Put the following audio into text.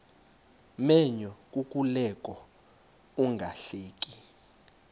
menyo kukuleka ungahleki